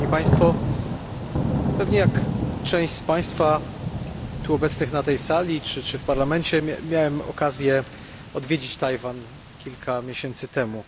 Pewnie podobnie jak część z Państwa obecnych na tej sali czy w Parlamencie miałem okazję odwiedzić Tajwan kilka miesięcy temu.